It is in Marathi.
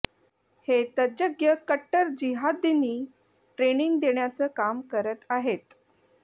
हे तज्ज्ञ कट्टर जिहादींनी ट्रेनिंग देण्याचं काम करत आहेत